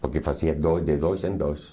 Porque eu fazia dois de dois em dois.